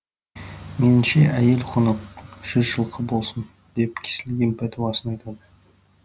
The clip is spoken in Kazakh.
меніңше әйел құны жүз жылқы болсын деп кесілген пәтуасын айтады